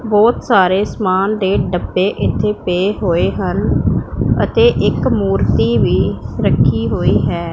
ਬਹੁਤ ਸਾਰੇ ਸਮਾਨ ਦੇ ਡੱਬੇ ਇੱਥੇ ਪਏ ਹੋਏ ਹਨ ਅਤੇ ਇੱਕ ਮੂਰਤੀ ਵੀ ਰੱਖੀ ਹੋਈ ਹੈ।